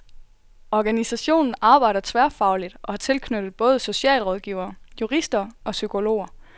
Organisationen arbejder tværfagligt og har tilknyttet både socialrådgivere, jurister og psykologer.